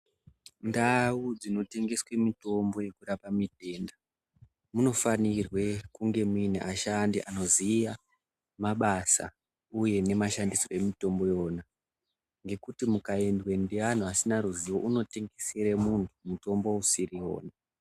Ndau dzino tengeswe mitombo yeku rapa mitenda muno fanirwe kunge muine ashandi ano ziya mabasa uye ne mashandisirwo emitombo iyona ngekuti muka endwe nge anhu asina ruzivo uno tengesere munhu mutombo usiriwo.